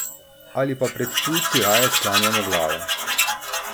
Ali pa pred tujci raje sklanjamo glave?